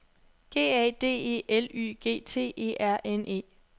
G A D E L Y G T E R N E